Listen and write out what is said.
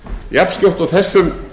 jafnskjótt og þessum